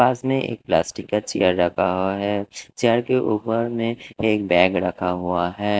पास में एक प्लास्टिक का चेयर रखा हुआ है चेयर के ऊपर में एक बैग रखा हुआ है।